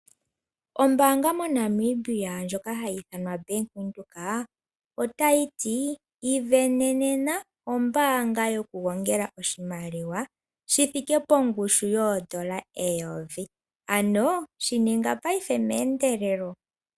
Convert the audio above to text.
Ombaanga mo Namibia ndjoka hayi ithanwa Bank Windhoek otayi ivenena ombaanga yokugongela oshimaliwa shi thike pongushu yoodola eyovi, ano shi ninga payife meendelelo